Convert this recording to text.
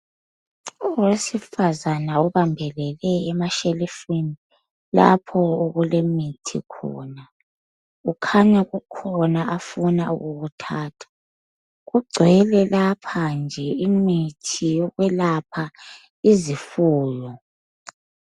owesifazana ubambelele emashelifini lapho okulemithi khona kukhanya kukhona afuna ukukuthatha kugcwele lapha nje imithi yokwelapha izifuyo